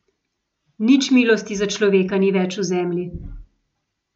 Nič milosti za človeka ni več v zemlji.